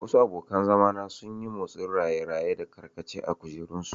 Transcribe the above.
Wasu abokan zama na sun yi motsin raye-raye da karkace a kujerunsu.